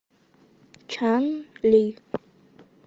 чан ли